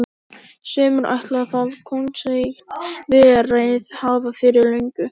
Sumir ætla það kóngseign verið hafa fyrir löngu.